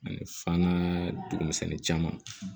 Ani fana dugumisɛnnin caman